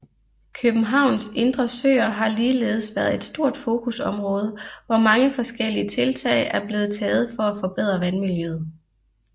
Københavns indre søer har ligeledes været et stort fokusområde og mange forskellige tiltag er blevet taget for at forbedre vandmiljøet